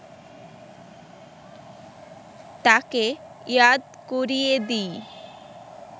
তাঁকে ইয়াদ করিয়ে দিই